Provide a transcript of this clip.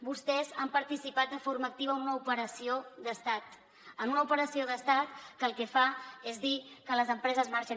vostès han participat de forma activa en una operació d’estat en una operació d’estat que el que fa és dir que les empreses marxen